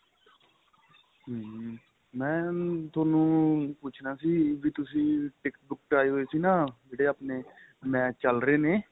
hm ਮੈਂ ਥੋਨੂੰ ਪੁੱਚਣਾ ਸੀ ਵੀ ਤੁਸੀਂ ticket ਟੁਕਟ ਆਈ ਹੋਈ ਸੀ ਨਾਂ ਜਿਹੜੇ ਆਪਣੇਂ match ਚੱਲ ਰਹੇ ਨੇ